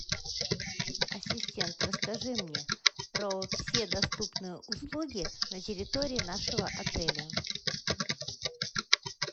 ассистент расскажи мне про все доступные услуги на территории нашего отеля